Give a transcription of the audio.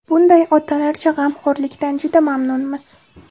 Bunday otalarcha g‘amxo‘rlikdan juda mamnunmiz”.